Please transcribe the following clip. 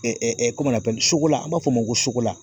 an b'a fɔ o ma ko